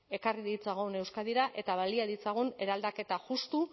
ekarri ditzagun euskadira eta balia ditzagun eraldaketa justu